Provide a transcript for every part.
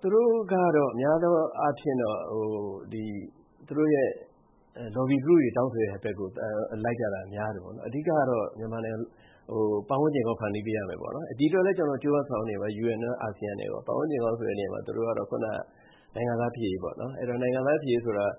သူတို့ကတော့ များသောအားဖြင့်တော့ သူတို့ရဲ့ lobby group တွေ တောင်းဆိုတဲ့ဘက်ကို လိုက်ကြတာများတယ်ပေါ့နော်… အဓိကကတော့ ပတ်ဝန်းကျင်ကောင်း ဖန်တီးပေးရမယ်ပေ့ါ… ဒီအတွက်လည်း ကျနော်တို့ ကြိုးပမ်းဆောင်ရွက်နေပါတယ်၊ UN နဲ့ကော၊ အာဆီယံနဲ့ကော… ပတ်ဝန်းကျင်ကောင်းဆိုတဲ့နေရာမှာ သူတို့ကတော့ နိုင်ငံသားဖြစ်ရေးပေါ့… အဲဒီတော့ နိုင်ငံသားဖြစ်ရေးဆိုတာက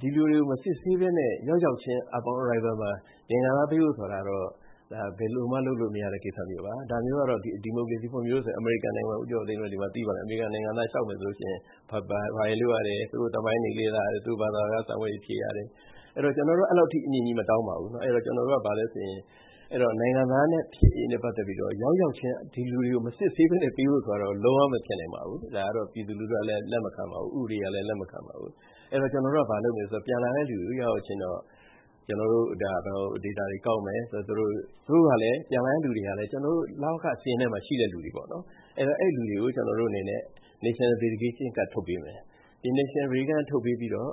ဒီလူတွေကို မစစ်ဆေးဘဲနဲ့ ရောက်ရောက်ချင်း upon arrival မှာ နိုင်ငံသားပေးဖို့ဆိုတာကတော့ ဒါဘယ်လိုမှ လုပ်လို့မရတဲ့ ကိစ္စမျိုးပါ။ ဒါမျိုးကတော့ ဒီမိုကရေစီဖွံ့ဖြိုးတယ်ဆိုတဲ့ အမေရိကန်နိုင်ငံမှာ၊ ဦးကျော်ကျော်သိန်းတို့လည်း ဒီမှာသိပါတယ်၊ အမေရိကန်နိုင်ငံသား လျှောက်မယ်ဆိုလို့ရှိရင် ဘာတွေလုပ်ရတယ်… သူတို့သမိုင်းတွေ လေ့လာရတယ်၊ သူတို့ ဘာသာစကား စာမေးပွဲတွေဖြေရတယ်၊ အဲဒီတော့ ကျနော်တို့က အဲဒီလောက်ထိ အမြင့်ကြီးမတောင်းပါဘူး။ အဲဒီတော့ နိုင်ငံသားဖြစ်ရေးနဲ့ပတ်သက်ပြီးတော့ ရောက်ရောက်ချင်း ဒီလူတွေကို မစစ်ဆေးဘဲနဲ့ ပေးဖို့ဆိုတာကတော့ လုံးဝမဖြစ်နိုင်ပါဘူး။ ဒါကတော့ ပြည်သူလူထုကလည်း လက်မခံပါဘူး၊ ဥပဒေကလည်း လက်မခံပါဘူး။ အဲဒီတော့ ကျနော်တို့က ဘာလုပ်မလဲဆိုတော့ ပြန်လာတဲ့လူတွေကို ရောက်ရောက်ချင်းတော့ data တွေကောက်မယ်၊ ပြန်လာတဲ့လူတွေကလည်း ကျနော်တို့ လဝကစာရင်းထဲမှာ ရှိတဲ့လူတွေပေါ့… အဲဒီလူတွေကို National Verification Card ထုတ်ပေးမယ်။ ဒီ National Verification Card ထုတ်ပေးပြီးတော့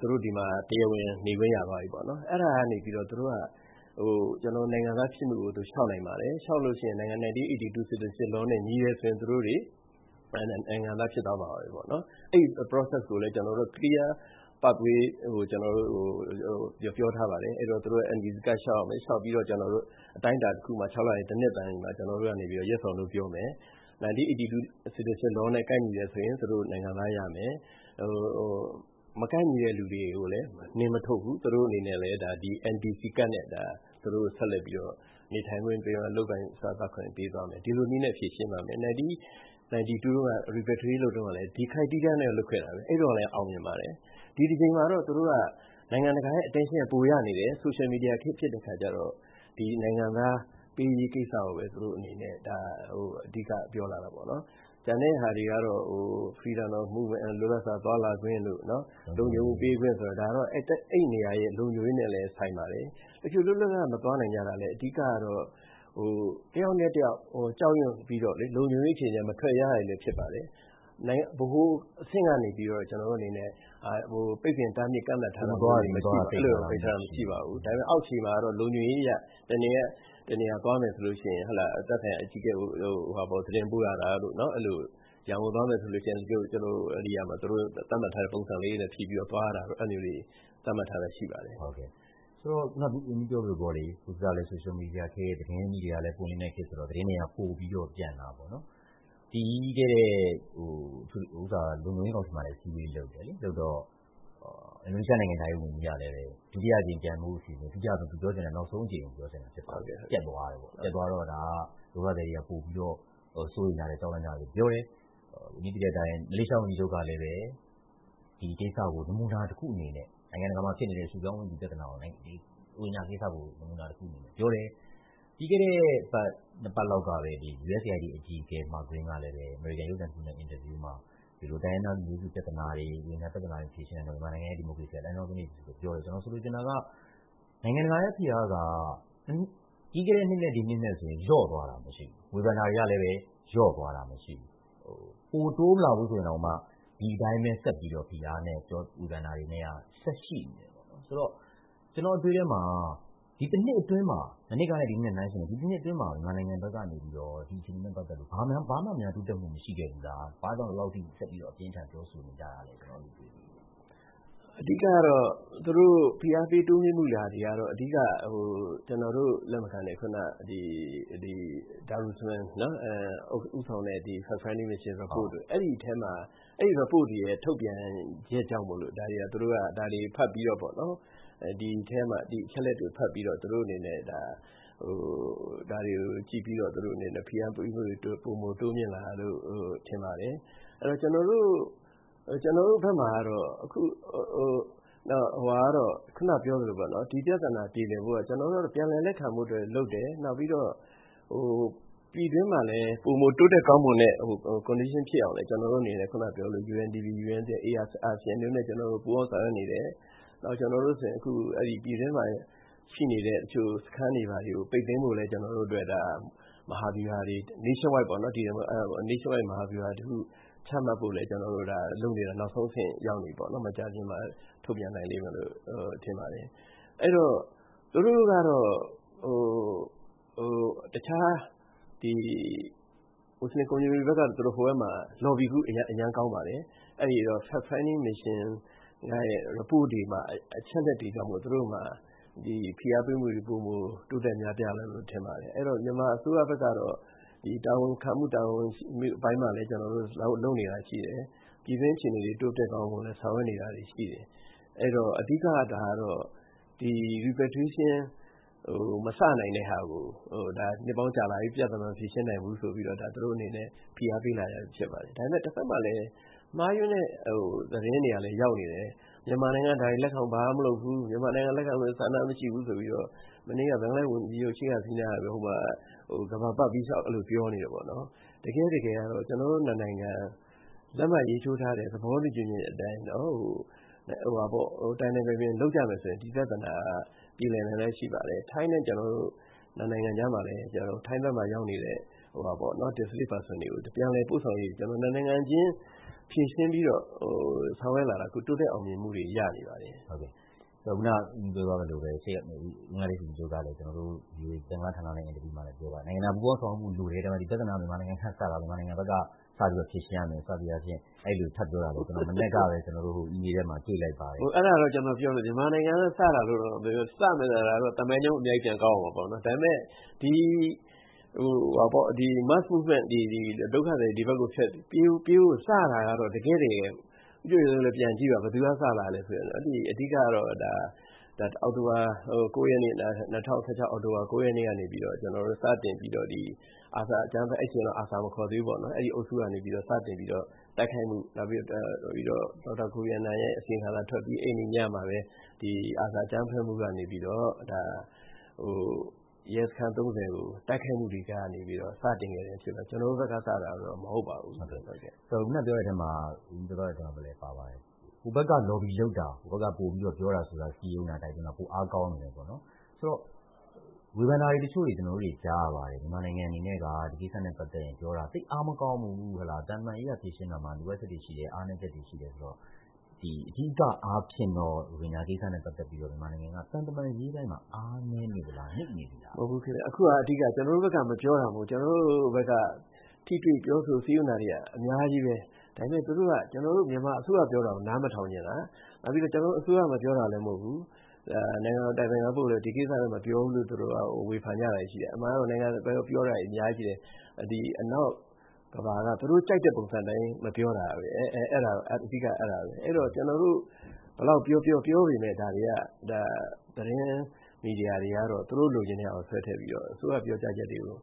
သူတို့ ဒီမှာ တရားဝင်နေခွင့် ရသွားပြီပေ့ါ။ အဲဒါကနေပြီးတော့ သူတို့က နိုင်ငံသားဖြစ်မှုကို လျှောက်နိုင်ပါတယ်။ လျှောက်လို့ရှိရင် 1982 Citizenship Law နဲ့ ညီတယ်ဆိုရင် သူတို့တွေ နိုင်ငံသားဖြစ်သွားမှာပါပဲ။ အဲဒီ process ကိုလည်း ကျနော်တို့ clear pathway ကို ကျနော်တို့ ပြောထားပါတယ်။ အဲဒီတော့ သူတို့ NVC ကဒ် လျှောက်ရမယ်၊ လျှောက်ပြီးတော့ အတိုင်းအတာတခုမှာ၊ လတန်သည် နှစ်တန်သည်မှာ ကျနော်တို့ကနေပြီးတော့ Yes or No ပြောမယ်၊ 1982 Citizenship Law နဲ့ ကိုက်ညီတယ်ဆိုရင် သူတို့ နိုင်ငံသားရမယ်၊ မကိုက်ညီတဲ့လူတွေကိုလည်း နှင်မထုတ်ဘူး၊ သူတို့အနေနဲ့လည်း ဒီ NVC ကဒ်နဲ့ သူတို့ကို ဆက်လက်ပြီးတော့ နေထိုင်ခွင့်ပေးမယ်၊ လုပ်ကိုင်စားသောက်ခွင့်ပေးသွားမယ်၊ ဒီလိုနည်းနဲ့ ဖြေရှင်းပါမယ်။ 1992 တုန်းက repatriate လုပ်တုန်းကလည်း ဒီ criteria နဲ့ပဲ လုပ်ခဲ့တာပဲ၊ အဲဒီတုန်းကလည်း အောင်မြင်ပါတယ်။ ဒီတကြိမ်မှာတော့ သူတို့က နိုင်ငံတကာရဲ့ attention က ပိုရနေတယ်၊ ဆိုရှယ်မီဒီယာခေတ် ဖြစ်တဲ့အခါကျတော့ ဒီ နိုင်ငံသားပေးရေးကိစ္စကိုပဲ သူတို့အနေနဲ့ အဓိက ပြောလာတာပေါ့။ ကျန်တဲ့ဟာတွေကတော့ လွတ်လပ်စွာ သွားလာခွင့်တို့၊ လုံခြုံမှုပေးခွင့်ဆိုတာ… ဒါကတော့ အဲဒီနေရာရဲ့ လုံခြုံရေးနဲ့လည်းဆိုင်ပါတယ်။ တချို့လွတ်လွတ်လပ်လပ် မသွားနိုင်ကြတာလည်း အဓိကကတော့ တယောက်နဲ့တယောက် ကြောက်ရွံ့ပြီးတော့ လုံခြုံရေးအခြေအနေအရ မထွက်ရဲကြတာလည်း ဖြစ်ပါတယ်။ ဗဟိုအဆင့်ကနေပြီးတော့ ကျနော်တို့အနေနဲ့ ပိတ်ပင်တားမြစ် ကန့်သတ်ထားတာတွေ မရှိပါဘူး။ ဒါပေမဲ့ အောက်ခြေမှာကတော့ လုံခြုံရေးအရ တနေရာက တနေရာ သွားမယ်ဆိုရင် သက်ဆိုင်ရာအကြီးအကဲကို သတင်းပို့ရတာတို့၊ ရန်ကုန်သွားမယ် ဆိုလို့ရှိရင် သူတို့သတ်မှတ်ထားတဲ့ ပုံစံလေးတွေနဲ့ဖြည့်ပြီးတော့ သွားရတာတို့ အဲဒါမျိုးတွေ သတ်မှတ်ထားတာရှိပါတယ်။ ဟုတ်ကဲ့၊ ဆိုတော့ အခုန ဝန်ကြီးပြောသလိုပေါ့လေ… အခုကလဲ ဆိုရှယ်မီဒီယာခေတ်၊ သတင်းမီဒီယာလည်း ပွင့်လင်းတဲ့ခေတ်ဆိုတော့ သတင်းတွေက ပိုပြီးတော့ ပြန့်တာပေါ့။ ပြီးခဲ့တဲ့ လုံခြုံရေးကောင်စီမှာလည်း အစည်းအဝေး လုပ်ပါတယ်။ အင်ဒိုနီးရှားနိုင်ငံခြားရေး ဝန်ကြီးက ဒုတိယအကြိမ် ပြန်ပို့ဖို့အစီအစဉ်၊ သူပြောချင်တာ နောက်ဆုံးအကြိမ်ကို ပြောချင်တာ ဖြစ်ပါလိမ့်မယ်၊ ပျက်သွားတယ်ပေါ့၊ ပျက်သွားတော့ ဒါ ဒုက္ခသည်တွေက ပိုပြီးတော့ စိုးရိမ်ကြတယ်၊ ကြောက်လန့်ကြတယ်လို့ ပြောတယ်၊ ဝန်ကြီးသိတဲ့အတိုင်း မလေးရှားဝန်ကြီးချုပ်ကလည်း နိုင်ငံတကာမှာ ရွှေ့ပြောင်းဝင်သူပြဿနာကို ရိုဟင်ဂျာကိစ္စကို နမူနာတခုအနေနဲ့ ပြောတယ်၊ ပြီးခဲ့တဲ့နှစ်ပတ်လောက်ကပဲ USAID အကြီးအကဲ Mark Green ကလည်း အမေရိကန် ရုပ်သံတခုနဲ့ အင်တာဗျူးမှာ တိုင်းရင်းသားလူမျိုးစုပြဿနာတွေ၊ ရိုဟင်ဂျာ ပြဿနာတွေကို မဖြေရှင်းနိုင်တာကြောင့် မြန်မာနိုင်ငံရဲ့ ဒီမိုကရေစီဟာ လမ်းကြောင်းလွဲနေပြီ ဆိုပြီးတော့ ပြောတယ်။ ကျနော်ဆိုလိုချင်တာက နိုင်ငံတကာရဲ့ဖိအားက ပြီးခဲ့တဲ့နှစ်နဲ့ ဒီနှစ်နဲ့ဆိုရင် လျော့သွားတာ မရှိဘူး၊ ဝေဖန်တာတွေကလည်း လျော့သွားတာ မရှိဘူး၊ ပိုတိုးမလာဘူးဆိုရင်တောင်မှ ဒီတိုင်းပဲ ဆက်ပြီးတော့ ဖိအားနဲ့ ဝေဖန်တာတွေနဲ့က ဆက်ရှိနေတယ်၊ ဆိုတော့ ကျနော့်အတွေးထဲမှာ မနှစ်ကနဲ့ ဒီနှစ်နဲ့နှိုင်းယှဉ်ပြီး ဒီတနှစ်အတွင်းမှာ မြန်မာနိုင်ငံဘက်ကနေပြီးတော့ ဒီအခြေ အနေနဲ့ပတ်သက်လို့ ဘာမှများ တိုးတက်မှု မရှိခဲ့ဘူးလား၊ ဘာ့ကြောင့် ဒီလောက်ထိ ဆက်ပြီးတော့ အပြင်းအထန်ပြောဆိုနေကြတာလဲ… ကျနော် အဲဒီလိုတွေးမိတယ်။ အဓိကကတော့ သူတို့ ဖိအားတိုးမြှင့်လာတာကတော့ ကျနော်တို့လက်မခံတဲ့ Darusman ဦးဆောင်တဲ့ Fact Finding Mission Report ၊ အဲဒီ report တွေရဲ့ ထုတ်ပြန်ချက်ကြောင့်မို့ ဒီအချက်အလက်တွေကို ဖတ်ပြီးတော့ ဖိအားပေးမှုတွေ ပိုမိုတိုးမြင့်လာတာလို့ ထင်ပါတယ်။ ကျနော်တို့ဘက်မှာကတော့ ဒီပြဿနာပြေလည်ဖို့အတွက် ကျနော်တို့က ပြန်လည်လက်ခံဖို့လုပ်တယ်၊ နောက်ပြီးတော့ ပြည်တွင်းမှာလည်း ပိုမိုတိုးတက်ကောင်းမွန်တဲ့ condition ဖြစ်အောင်လည်း ကျနော်တို့အနေနဲ့ UNDP ၊ UNHCR ၊ ASEAN တို့နဲ့ ပူးပေါင်းဆောင်ရွက်နေ တယ်၊ ကျနော်တို့ဆိုရင် အခုပြည်တွင်းမှာရှိနေတဲ့ တချို့စခန်းတွေဘာတွေကို ပိတ်သိမ်းဖို့လည်း Nationwide မဟာဗျူဟာတခု ချမှတ်ဖို့လုပ်နေတာ နောက်ဆုံးအဆင့်ရောက်နေပြီ၊ မကြာခင်မှာ ထုတ်ပြန်နိုင်လိမ့်မယ်လို့ ထင်ပါတယ်။ မွတ်ဆလင် community ဘက်ကတော့ သူတို့ ဟိုဘက်မှာ lobby group အရမ်းကောင်းပါတယ်။ အဲဒီတော့ Fact Finding Mission ရဲ့ report တွေမှာ အချက်အလက်တွေကြောင့်မို့ ဖိအားပေးမှုတွေ ပိုမိုများပြားလာတယ်လို့ ထင်ပါတယ်။ မြန်မာအစိုးရဘက်ကတော့ တာဝန်ခံမှု၊ တာဝန်ယူမှုအပိုင်းမှာလည်း ကျနော်တို့ လုပ်နေတာရှိတယ်။ ပြည်တွင်းအခြေအနေတွေ တိုးတက်ကောင်းမွန်အောင်လည်း ဆောင်ရွက်နေတာတွေရှိတယ်။ အဓိကကတော့ repatriation မစနိုင်တဲ့ဟာကို ဒါ နှစ်ပေါင်းကြာလာပြီ၊ ပြဿနာ မဖြေ ရှင်းနိုင်ဘူးဆိုပြီးတော့ သူတို့အနေနဲ့ ဖိအားပေးလာကြတာပဲ ဖြစ်ပါတယ်။ ဒါပေမဲ့ တဘက်မှာလည်း မှားယွင်းတဲ့သတင်းတွေက ရောက်နေတယ်၊ မြန်မာနိုင်ငံက ဒါတွေလက်ခံဖို့ ဘာမှမလုပ်ဘူး၊ မြန်မာနိုင်ငံက လက်ခံလိုတဲ့ဆန္ဒ မရှိဘူးဆိုပြီးတော့ မနေ့က ဘင်္ဂလားဒေ့ရှ်ဝန်ကြီးချုပ် Sheikh Hasina က ကမ္ဘာပတ်ပြီး အဲဒီလိုပြောနေတယ်ပေါ့… တကယ့်တကယ်ကတော့ ကျနော်တို့နှစ်နိုင်ငံ လက်မှတ်ရေးထိုးထားတဲ့ သဘောတူညီချက်အတိုင်း တိုင်တိုင်ပင်ပင် လုပ်ကြမယ်ဆိုရင် ဒီပြဿနာက ပြေလည်နိုင်တာ ရှိပါတယ်။ ထိုင်းနဲ့ ကျနော်တို့ နှစ်နိုင်ငံကြားမှာလည်း ထိုင်းဘက်မှာ ရောက်နေတဲ့ displaced person တွေ ပြန်လည်ပို့ဆောင်ရေးကို ကျနော်တို့ နှစ်နိုင်ငံချင်း ဖြေရှင်းပြီးတော့ ဆောင်ရွက်လာတာ တိုးတက်အောင်မြင်မှုတွေ ရနေပါတယ်။ ဟုတ်ကဲ့၊ ဘင်္ဂလားဒေ့ရှ်ဝန်ကြီးချုပ် ကျနော်တို့ ဘင်္ဂလားဌာနနဲ့ အင်တာဗျူးမှာလည်း ပြောထားပါတယ်၊ နိုင်ငံတကာ ပူးပေါင်းဆောင်ရွက်မှုလိုတယ်၊ ဒါပေမယ့် ဒီပြဿနာက မြန်မာနိုင်ငံကစတာ၊ မြန်မာနိုင်ငံဘက် စပြီးတော့ ဖြေရှင်းရမယ် စသည်အားဖြင့် အဲဒီလို ထပ်ပြောပါတယ်။ အဲဒါတော့ ကျနော်ပြောမယ်၊ မြန်မာနိုင်ငံက စတာလို့တော့မပြောနဲ့၊ စတာဆိုရင်တော့ သမိုင်းကြောင်း အများကြီး ပြန်ကောက်ရမယ်။ ဒါပေမဲ့ ဒုက္ခသည်တွေပြေးဖို့ စတာကတော့ တကယ့်တကယ်၊ ဦးကျော်ကျော်သိန်းတို့လည်း ပြန်ကြည့်ပါ၊ ဘယ်သူက စတာလဲဆိုရင်၊ အဓိကကတော့ ၂၀၁၆ အောက်တိုဘာ ရက်နေ့ကနေ စတင်ပြီးတော့၊ အဲဒီအချိန်တုန်းက ARSA မခေါ်သေးဘူးပေါ့၊ အဲဒီအုပ်စုကနေပြီးတော့ စတင်ပြီးတော့ တိုက်ခိုက်မှု၊ နောက်ပြီးတော့ ဒေါက်တာ Kofi Annan ရဲ့အစီရင်ခံစာထွက်ပြီး အဲဒီနေ့ညမှာပဲ ARSA အကြမ်းဖက်မှုကနေပြီးတော့ ရဲစခန်း ကို တိုက်ခိုက်မှုတွေကနေပြီးတော့ စတင်ခဲ့တဲ့အဖြစ်ပါ၊ ကျနော်တို့ဘက်က စတာတော့ မဟုတ်ပါဘူး။ အခုန ဝန်ကြီးပြောသွားတဲ့ထဲမှာလည်း ပါပါတယ်၊ ဟိုဘက်က lobby လုပ်တာ၊ ဟိုဘက်က ပြောဆို စည်းရုံးတိုက်တွန်းတာ ပိုအားကောင်းနေတယ်ပေါ့။ ဝေဖန်တာတချို့ ကျနော်တို့ ကြားရပါတယ်၊ မြန်မာနိုင်ငံအနေနဲ့က ဒီကိစ္စနဲ့ပတ်သက်ရင်ပြောတာ သိပ်အားမကောင်းဘူး၊ သံတမန်ရေးအရ ဖြေရှင်းတာမှာ လိုအပ်ချက်တွေရှိတယ်၊ အားနည်းချက်တွေရှိတယ်ဆိုပြီးတော့… အဓိကအားဖြင့်တော့ ရိုဟင်ဂျာကိစ္စနဲ့ ပတ်သက်ပြီးတော့ မြန်မာနိုင်ငံက သံတမန်ရေးပိုင်းမှာ အားနည်းနေသလား၊ နိမ့်နေသလား။ မဟုတ်ဘူးခင်ဗျ၊ အခုဟာက အဓိကက ကျနော်တို့ဘက်က မပြောတာမဟုတ်ဘူး၊ ကျနော်တို့ဘက်က ထိတွေ့ပြောဆို စည်းရုံးတာတွေက အများကြီးပါ။ ဒါပေမဲ့ သူတို့က ကျနော်တို့ မြန်မာအစိုးရပြောတာကို နားမထောင်ချင်တာ။ နောက်ပြီးတော့ ကျနော်တို့အစိုးရ မပြောတာလည်း မဟုတ်ဘူး။ နိုင်ငံတော်အတိုင်ပင်ခံပုဂ္ဂိုလ်လည်း ဒီကိစ္စမပြောဘူးလို့ သူတို့က ဝေဖန်ကြတာတွေရှိတယ်။ အမှန်ကတော့ ပြောတာတွေ အများကြီးရှိတယ်။ ဒီ အနောက်ကမ္ဘာက သူတို့ကြိုက်တဲ့ပုံစံအတိုင်း မပြောတာ အဓိက အဲဒါပဲ။ အဲဒီတော့ ကျနော်တို့ ဘယ်လောက်ပြောပြော ပြောပေမယ့် ဒါတွေက သတင်းမီဒီယာတွေကတော့ သူတို့လိုချင်တဲ့ဟာကို ဆွဲထည့်ပြီးတော့ အစိုးရပြောကြားချက်တွေကို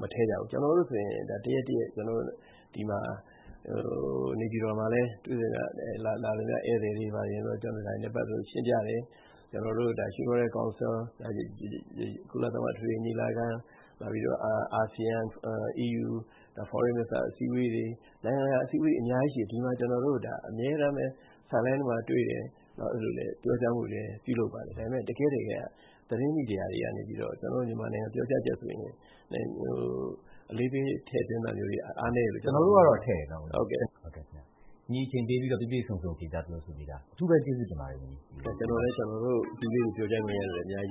မထည့်ကြဘူး။ ကျနော်တို့ဆိုရင် တရက်တရက် နေပြည်တော်မှာလည်း လာသမျှ ဧည့်သည်တွေ ဒါတွေနဲ့ ပတ်သက်လို့ ရှင်းပြတယ်၊ Human Rights Council ၊ ကုလသမဂ္ဂ အထွေထွေညီလာခံ နောက်ပြီးတော့ အာဆီယံ၊ EU ၊ Foreign Ministers အစည်းအဝေးတွေ၊ နိုင်ငံတကာ အစည်းအဝေးတွေ အများကြီးရှိတယ်၊ ကျနော်တို့ အမြဲတမ်း sideline တွေမှာတွေ့တယ်၊ ပြောကြားမှုတွေ လည်း ပြုလုပ်ပါတယ်။ ဒါပေမယ့် တကယ့်တကယ်က သတင်းမီဒီယာတွေကနေပြီးတော့ ကျနော်တို့ မြန်မာနိုင်ငံ ပြောကြားချက်ဆိုရင် အလေးပေး ထည့်သွင်းတာမျိုးတွေ အားနည်းတယ်လို့ ကျနော်တို့ကတော့ မြင်ပါတယ်။ ကျနော်တို့ကတော့ ထည့်တယ်နော် ဝန်ကြီး… အချိန်ပေးပြီးတော့ ပြည့်ပြည့်စုံစုံ ဖြေကြားပြောဆိုပေးတာ အထူးပဲကျေးဇူးတင်ပါတယ်။ ကျနော်လည်း ကျနော်တို့ view လေးတွေ ပြောကြားခွင့်ရတဲ့ အတွက် အများကြီး